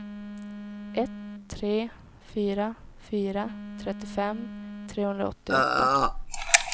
ett tre fyra fyra trettiofem trehundraåttioåtta